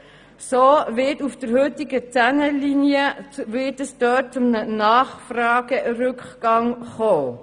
So wird es auf der heutigen 10erLinie zu einem Nachfragerückgang kommen.